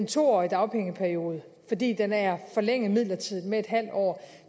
to årig dagpengeperiode fordi den er forlænget midlertidigt med en halv år